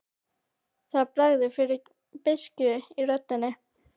Það bregður fyrir beiskju í röddinni.